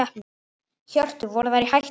Hjörtur: Voru þeir í hættu?